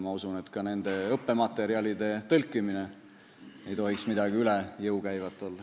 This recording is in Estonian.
Ma usun, et ka õppematerjalide tõlkimine ei tohiks olla midagi üle jõu käivat.